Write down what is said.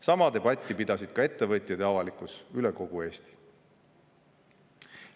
Sama debatti pidasid ka ettevõtjad ja avalikkus üle kogu Eesti.